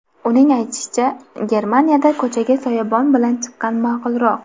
Uning aytishicha, Germaniyada ko‘chaga soyabon bilan chiqqan ma’qulroq.